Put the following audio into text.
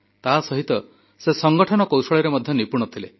ତାସହିତ ସେ ସଂଗଠନ କୌଶଳରେ ମଧ୍ୟ ନିପୁଣ ଥିଲେ